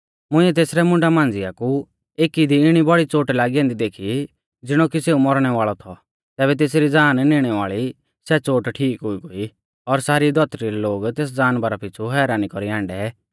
मुंइऐ तेसरै मुंडा मांझ़िआ कु एकी दी इणी बौड़ी चोट लागी ऐन्दी देखी ज़िणौ कि सेऊ मौरणै वाल़ौ थौ तैबै तेसरी ज़ान निणै वाल़ी सै चोट ठीक हुई गोई और सारी धौतरी रै लोग तेस जानवरा पीछ़ु हैरानी कौरीयौ हाण्डै